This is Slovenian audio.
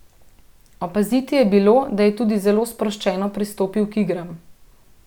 Opaziti je bilo, da je tudi zelo sproščeno pristopil k igram.